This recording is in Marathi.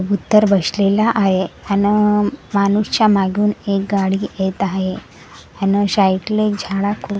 उतर बशलेला आहे अन माणूस च्या मागून एक गाडी येत आहे यान शायकल एक झाडा खा.